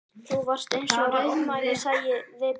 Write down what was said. Þú varst eins og rauðmagi, sagði Bill.